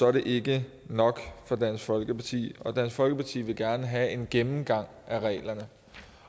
er det ikke nok for dansk folkeparti dansk folkeparti vil gerne have en gennemgang af reglerne